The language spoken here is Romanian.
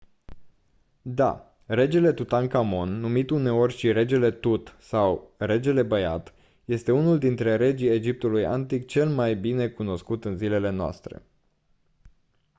da! regele tutankhamon numit uneori și «regele tut» sau «regele băiat» este unul dintre regii egiptului antic cel mai bine cunoscut în zilele noastre.